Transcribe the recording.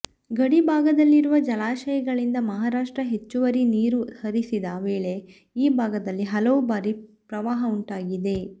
ಗಡಿ ಭಾಗದಲ್ಲಿರುವ ಜಲಾಶಯಗಳಿಂದ ಮಹಾರಾಷ್ಟ ಹೆಚ್ಚುವರಿ ನೀರು ಹರಿಸಿದ ವೇಳೆ ಈ ಭಾಗದಲ್ಲಿ ಹಲವು ಬಾರಿ ಪ್ರವಾಹ ಉಂಟಾಗಿದೆ